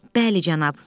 Bəli, cənab.